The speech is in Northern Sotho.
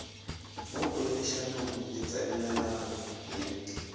mo poledišanong le tsenelelano le